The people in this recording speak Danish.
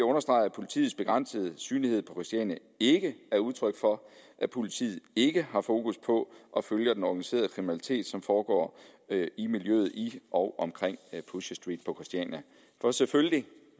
at understrege at politiets begrænsede synlighed på christiania ikke er udtryk for at politiet ikke har fokus på at følge den organiserede kriminalitet som foregår i miljøet i og omkring pusher street på christiania for selvfølgelig